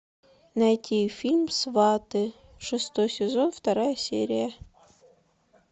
найти фильм сваты шестой сезон вторая серия